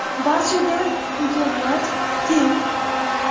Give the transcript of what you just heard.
Barchada imkoniyat teng.